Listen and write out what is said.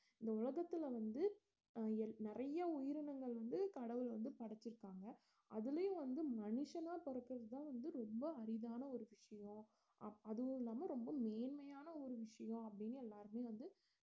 இந்த உலகத்துல வந்து அஹ் எல்~ நிறைய உயிரினங்கள் வந்து கடவுள் வந்து படைச்சிருக்காங்க அதுலயும் வந்து மனுஷனா பிறக்கிறதுதான் வந்து ரொம்ப அரிதான ஒரு விஷயம் அப்~ அதுவும் இல்லாம ரொம்ப நேர்மையான ஒரு விஷியம் அப்படின்னு எல்லாருமே வந்து